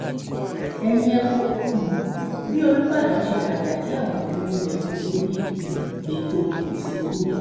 ẹ̀yin ẹ wo um bí olùbàdàn ṣe wájà tí àwọn ìjòyè rẹ̀ kò débi um ètò ìsìnkú ẹ̀